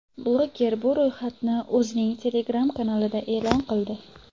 Bloger bu ro‘yxatni o‘zining Telegram-kanalida e’lon qildi.